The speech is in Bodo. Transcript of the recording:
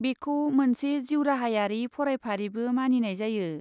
बेखौ मोनसे जिउराहायारि फरायफारिबो मानिनाय जायो।